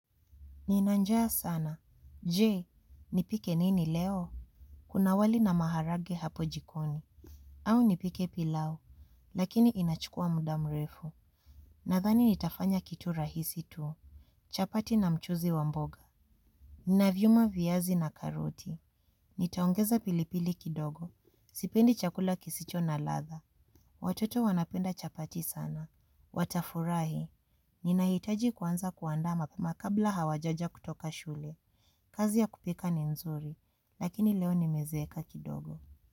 Ninanjaa sana. Je, nipike nini leo? Kuna wali na maharage hapo jikoni. Au nipike pilau. Lakini inachukua muda mrefu. Nathani nitafanya kitu rahisi tu. Chapati na mchuzi wa mboga. Ninavyuma viazi na karoti. Nitaongeza pilipili kidogo. Sipendi chakula kisicho na latha. Watoto wanapenda chapati sana. Watafurahi. Ninahitaji kuanza kuandaa mapema kabla hawajaja kutoka shule. Kazi ya kupika ni nzuri, lakini leo nimezeeka kidogo.